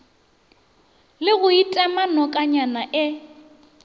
le go itima nakonyana e